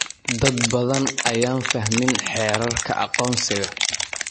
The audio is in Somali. Dad badan ayaan fahmin xeerarka aqoonsiga.